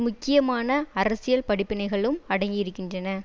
முக்கியமான அரசியல் படிப்பினைகளும் அடங்கியிருக்கின்றன